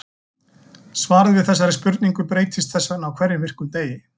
Svarið við þessari spurning breytist þess vegna á hverjum virkum degi.